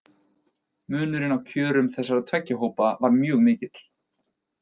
Munurinn á kjörum þessara tveggja hópa var mjög mikill.